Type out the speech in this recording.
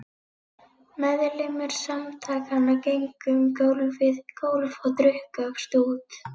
Meðlimir Samtakanna gengu um gólf og drukku af stút.